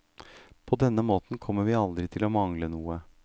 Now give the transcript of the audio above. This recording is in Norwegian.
På denne måten kommer vi aldri til å mangle noe.